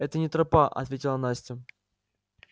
это не тропа ответила настя